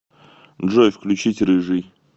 джой включить рыжий